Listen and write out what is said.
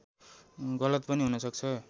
गलत पनि हुन सक्छ